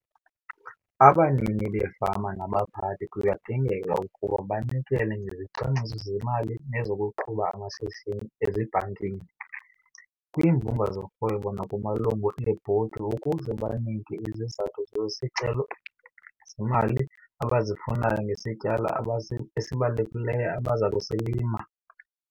Abanini beefama nabaphathi kuyadingeka ukuba banikele ngezicwangciso zemali nezokuqhuba amashishini ezibhankini, kwiimbumba zorhwebo nakumalungu eebhodi ukuze banike izizathu zezicelo zeemali abazifunayo ngesityalo esibalulekileyo abaza kusilima.